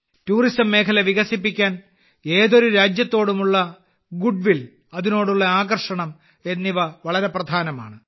tourism മേഖല വികസിപ്പിക്കാൻ ഏതൊരു രാജ്യത്തോടുമുള്ള ഗുഡ് വിൽ അതിനോടുള്ള ആകർഷണം എന്നിവ വളരെ പ്രധാനമാണ്